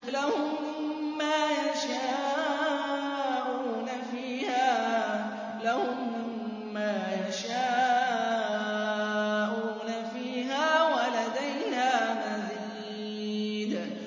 لَهُم مَّا يَشَاءُونَ فِيهَا وَلَدَيْنَا مَزِيدٌ